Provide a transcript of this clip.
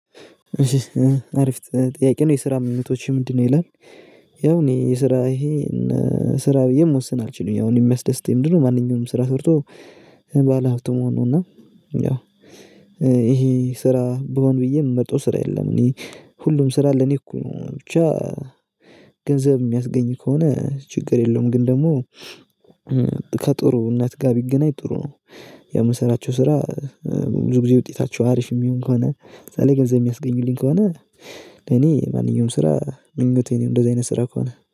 አሪፍ ጥያቄ ነው የስራ ምህቶቼ ምንድነው ይላል ያው እኔ የስራ ይሄ ስራ ብዬ መወሰን አልችልም ያው እኔ የሚያስደስተኝ ምንድነው ማንኛውም ስራ ሰርቶ ባለሀብቱ መሆኑ ነው እና ያው ስራ ብሆን ብዬ ምመርጠው ስራ የለም እኔ ሁሉም ስራ ለኔ እኩል ነው ገንዘብ ሚያስገኝ ከሆነ ችግር የለውም ግን ደግሞ ከጥሩነት ጋር ቢገናኝ ጥሩ ነው። የምንሰራቸው ስራ ብዙ ጊዜ ውጤታቸው አሪፍ የሚሆን ከሆነ ለምሳሌ ገንዘብ የሚያስገኙልኝ ከሆነ እኔ ማንኛውም ስራ ይመቸኛል እንደዚህ አይነት ስራ ከሆነ።